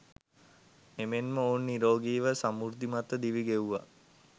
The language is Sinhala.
එමෙන්ම ඔවුන් නිරෝගීව සමෘද්ධිමත්ව දිවි ගෙව්වා.